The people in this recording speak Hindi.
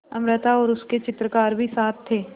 अमृता और उसके चित्रकार भी साथ थे